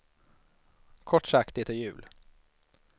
Kort sagt, det är jul.